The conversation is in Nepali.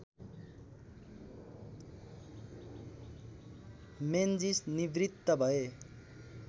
मेन्जिस निवृत्त भए